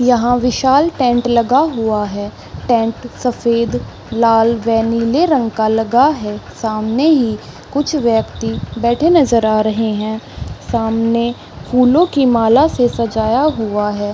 यहाँ विशाल टेंट लगा हुआ है टेंट सफ़ेद लाल व नीले रंग का लगा है सामने ही कुछ व्यक्ति बैठे नज़र आ रहे है सामने फूलो की माला से सजाया हुआ है।